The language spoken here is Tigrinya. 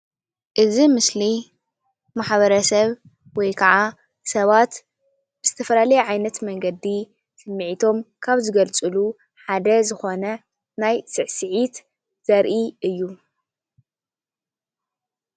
እዚ ምስሊ ማሕበረሰብ ወይካዓ ሰባት ብዝተፈላለየ ዓይነት መንገዲ ስምዒቶም ካብ ዝገልፅሉ ሓደ ዝኾነ ናይ ስዕስዒት ዘርኢ እዩ::